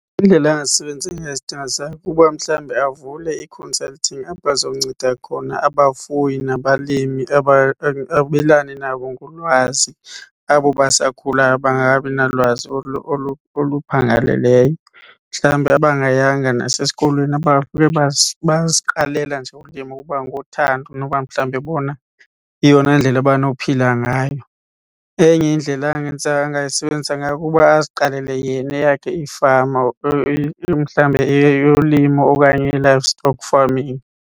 Indlela kuba mhlawumbe avule i-consulting apho azonceda khona abafuyi nabalimi abelane nabo ngolwazi abo basakhulayo bangakabi nalwazi oluphangaleleyo. Mhlawumbi abangayanga nasesikolweni bayaziqalela nje ulimo kwangothando noba mhlawumbi bona yeyona ndlela banophila ngayo. Enye indlela angenza angayisebenzisa ngayo kuba aziqalele yena eyakhe ifama mhlawumbe eyolimo okanye ii-livestock farming.